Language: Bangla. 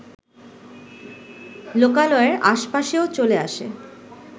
লোকালয়ের আশপাশেও চলে আসে